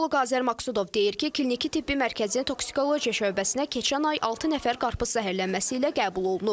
Toksikoloq Azər Maqsudov deyir ki, kliniki-tibbi mərkəzin toksikologiya şöbəsinə keçən ay altı nəfər qarpız zəhərlənməsi ilə qəbul olunub.